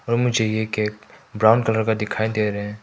मुझे ये cake brown colour का दिखाई दे रहे हैं।